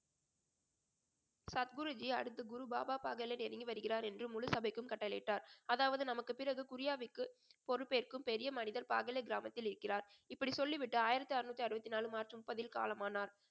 சத்குருஜி அடுத்து குருபாபா இறங்கி வருகிறார் என்று முழு சபைக்கும் கட்டளையிட்டார் அதாவது நமக்கு பிறகு குறியாவிற்கு பொறுப்பேற்கும் பெரிய மனிதர் பாகலே கிராமத்தில் இருக்கிறார் இப்படி சொல்லிவிட்டு ஆயிரத்தி அறுநூத்தி அறுபத்தி நாலு மார்ச் முப்பதில் காலமானார்